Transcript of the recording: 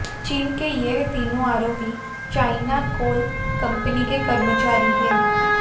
चीन के यह तीनों आरोपी चायना कोल कंपनी के कर्मचारी हैं